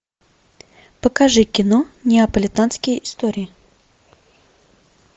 покажи кино неаполитанские истории